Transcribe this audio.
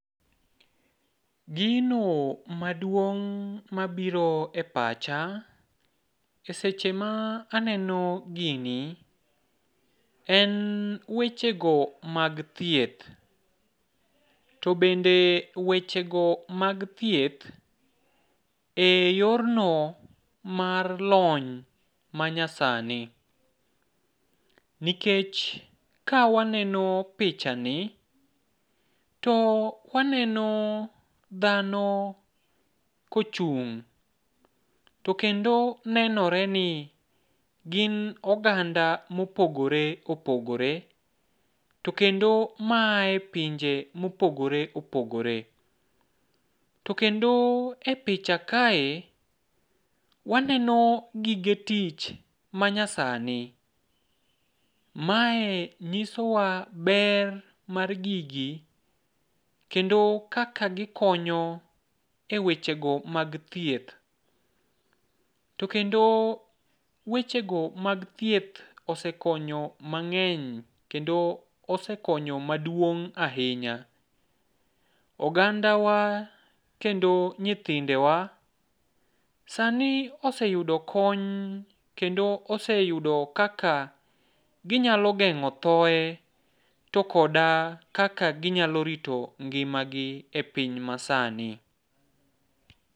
Gino maduong' mabiro e pacha e seche ma aneno gini, en wechego mag thieth. To bende wechego mag thieth, e yorno mar lony manyasani. Nikech kawaneno pichani, to waneno dhano kochung' to kendo nenoreni gin oganda mopogore opogore, to kendo maaye pinje mopogore opogore. To kendo e picha kae, waneno gige tich manyasani. Mae nyisowa ber mar gigi, kendo kaka gikonyo e wechego mag thieth. To kendo wechego mag thieth osekonyo mang'eny, kendo osekonyo maduong' ahinya. Ogandawa kendo nyithindewa, sani oseyudo kony kendo oseyudo kaka ginyalo geng'o thoe, to koda kaka ginyalo rito ngima gi e piny masani.